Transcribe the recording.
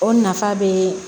O nafa bɛ